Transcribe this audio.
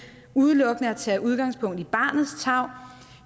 udelukkende at tage udgangspunkt i barnets tarv